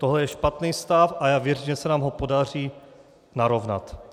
Tohle je špatný stav a já věřím, že se nám ho podaří narovnat.